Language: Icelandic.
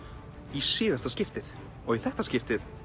í síðasta skiptið og í þetta skiptið